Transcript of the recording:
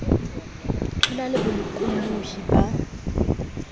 ho na le bolokollohi ba